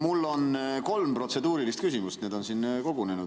Mul on kolm protseduurilist küsimust, need on siin kogunenud.